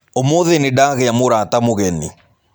Ũmũthĩ nĩndagĩa mũrata mũgeni.